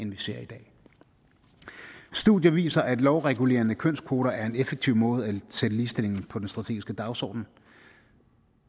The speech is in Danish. vi ser i dag studier viser at lovregulerende kønskvoter er en effektiv måde at sætte ligestillingen på den strategiske dagsorden